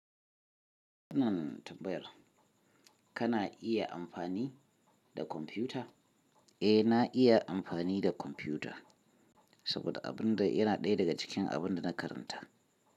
Wannan tambayar kana iya amfani da kwamfuta? Eh, na iya amfani da kwamfuta. Saboda abin da yana ɗaya daga cikin abin da na karanta.